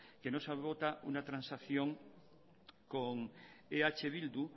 que no se vota una transacción con eh bildu